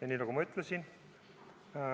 Ja nii, nagu ma ütlesin, on